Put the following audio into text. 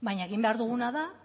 baina egin behar duguna da